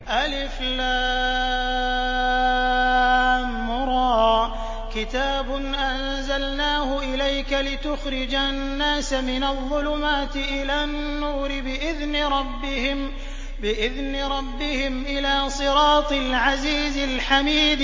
الر ۚ كِتَابٌ أَنزَلْنَاهُ إِلَيْكَ لِتُخْرِجَ النَّاسَ مِنَ الظُّلُمَاتِ إِلَى النُّورِ بِإِذْنِ رَبِّهِمْ إِلَىٰ صِرَاطِ الْعَزِيزِ الْحَمِيدِ